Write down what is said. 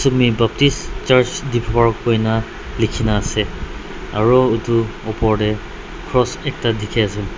Sumi Baptist Church Diphupar koina lekhena ase aro etu opor dae cross ekta dekhe ase.